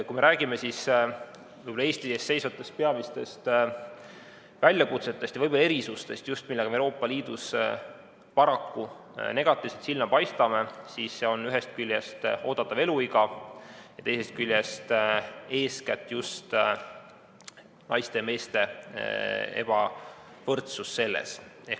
Kui me räägime Eesti ees seisvatest peamistest väljakutsetest ja erisustest, just sellest, millega me Euroopa Liidus paraku negatiivselt silma paistame, siis see on ühest küljest oodatav eluiga ja teisest küljest eeskätt just naiste ja meeste ebavõrdsus selles.